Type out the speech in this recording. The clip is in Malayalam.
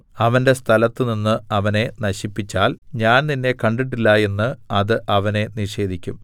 അവന്റെ സ്ഥലത്തുനിന്ന് അവനെ നശിപ്പിച്ചാൽ ഞാൻ നിന്നെ കണ്ടിട്ടില്ല എന്ന് അത് അവനെ നിഷേധിക്കും